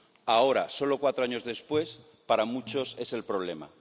Ahora, solo cuatro años después, para muchos es el problema.